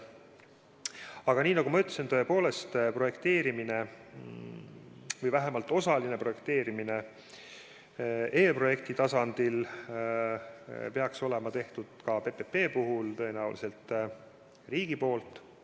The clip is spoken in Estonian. Aga nagu ma ütlesin, projekteerimine või vähemalt osaline projekteerimine eelprojekti tasandil peaks olema tehtud ka PPP puhul, ja tõenäoliselt riigi poolt.